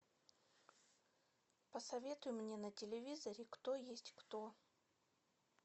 посоветуй мне на телевизоре кто есть кто